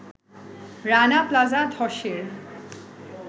Rana Plaza ধসের